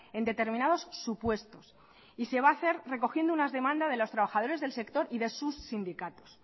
en determinados supuestos y se va a hacer recogiendo una demanda de los trabajadores del sector y de sus sindicatos